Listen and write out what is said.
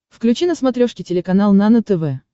включи на смотрешке телеканал нано тв